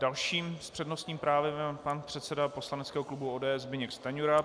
Dalším s přednostním právem je pan předseda poslaneckého klubu ODS Zbyněk Stanjura.